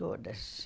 Todas.